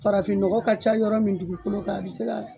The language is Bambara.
Farafinnɔgɔ ka ca yɔrɔ min dugukolo kan a bɛ se ka